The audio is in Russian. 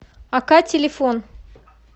ока телефон